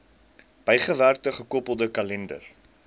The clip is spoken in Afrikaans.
bygewerkte gekoppelde kalender